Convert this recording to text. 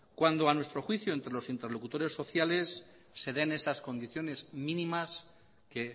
cuando a nuestro juicio entre los interlocutores sociales se den esas condiciones mínimas que